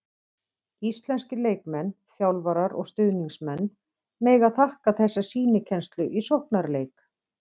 Íslenskir leikmenn, þjálfarar og stuðningsmenn mega þakka þessa sýnikennslu í sóknarleik.